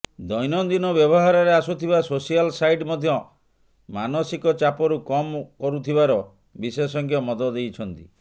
ଦୈନନ୍ଦିନ ବ୍ୟବହାରରେ ଆସୁଥିବା ସୋସିଆଲ୍ ସାଇଟ୍ ମଧ୍ୟ ମାନସିକ ଚାପକୁ କମ୍ କରୁଥିବାର ବିଶେଷଜ୍ଞ ମତ ଦେଇଛନ୍ତି